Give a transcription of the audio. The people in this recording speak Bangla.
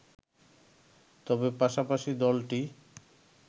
তবে পাশাপাশি দলটি